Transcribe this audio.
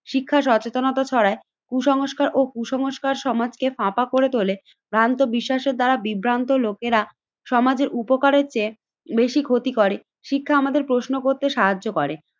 শিক্ষা সচেতনতা পাড়ায়, কুসংস্কার ও কুসংস্কার সমাজকে ফাঁপা করে তোলে। ভ্রান্ত বিশ্বাসের দ্বারা বিভ্রান্ত লোকেরা সমাজের উপকারের চেয়ে বেশি ক্ষতি করে। শিক্ষা আমাদের প্রশ্ন করতে সাহায্য করে